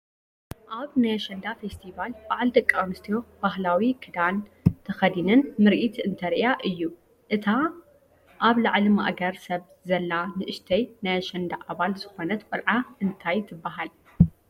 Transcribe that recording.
ኣብ ናይ ኣሸንዳ ፌስቲቫል በዓል ደቂኣንስትዮ ባህላዊ ክዳን ተኸዲነን ምርኢት እንተርእያ እዩ፡፡ እታ ኣብ ልዕሊ ማእገር ሰብ ዘላ ንእሽተይ ናይ ኣሸንዳ ኣባል ዝኾነት ቆልዓ እንታይ ትባሃል?